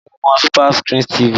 Ǹjẹ́ o mọ SuperScreen TV?